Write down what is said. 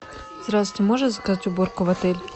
здравствуйте можно заказать уборку в отеле